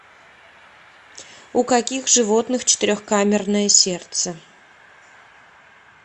у каких животных четырехкамерное сердце